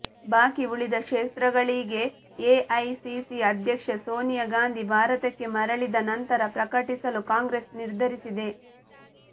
ಬಾಕಿ ಉಳಿದ ಕ್ಷೇತ್ರಗಳಿಗೆ ಎಐಸಿಸಿ ಅಧ್ಯಕ್ಷೆ ಸೋನಿಯಾ ಗಾಂಧಿ ಭಾರತಕ್ಕೆ ಮರಳಿದ ನಂತರ ಪ್ರಕಟಿಸಲು ಕಾಂಗ್ರೆಸ್ ನಿರ್ಧರಿಸಿದೆ